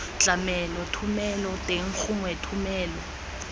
tlamelo thomelo teng gongwe thomelo